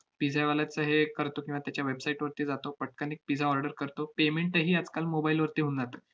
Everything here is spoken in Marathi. pizza वाल्याचे हे एक करतो किंवा त्याच्या website वरती जातो, पटकन एक pizza order करतो, payment ही आजकाल mobile वरती होऊन जातं.